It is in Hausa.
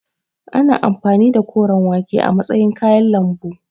Ana amfani da koren wake a matsayin kayan lambu.